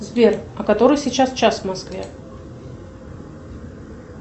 сбер а который сейчас час в москве